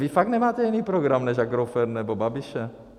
Vy fakt nemáme jiný program než Agrofert nebo Babiše?